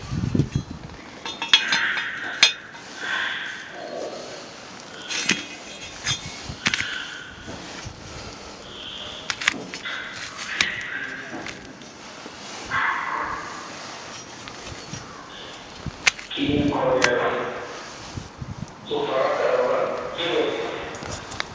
কি জানি কি করা যায় বল, কিছু পড়াতে হবে বল, কি বলছিস?